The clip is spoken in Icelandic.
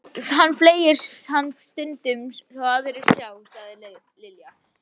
Hann flengir hann stundum svo aðrir sjá, sagði Lilla.